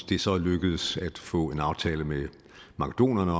det er så lykkedes at få en aftale med makedonerne